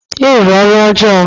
Ị rụrụ ọrụ ọjọọ!